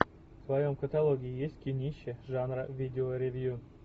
в твоем каталоге есть кинище жанра видеоревью